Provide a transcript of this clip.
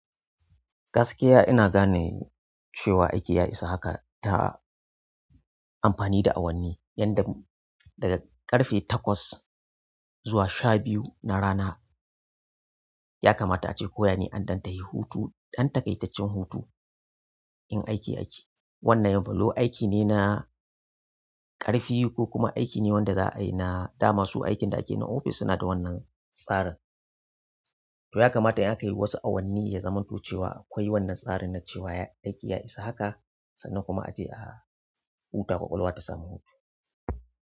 Gaskiya ina gane cewa aiki ya isa haka ta amfani da awanni, yadda daga ƙarfe takwas zuwa sha biyu na rana ya kamata ace ko yane an ɗan tahi hutu, ɗan takaitaccen hutu in aiki ake. Wannan yanzu aiki ne na ƙarfi ko kuma aiki ne wanda za a yi na, da masu aikin da ake na ofis suna da wannan tsarin. To ya kamata in aka yi wasu awanni ya zamanto cewa akwai wannan tsarin na cewa aiki ya isa haka sannan kuma a je a huta ƙwaƙwalwa ta samu hutu.